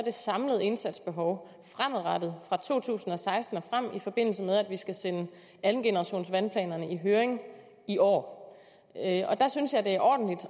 samlede indsatsbehov er fremadrettet fra to tusind og seksten og frem i forbindelse med at vi skal sende andengenerationsvandplanerne i høring i år og der synes jeg det er ordentligt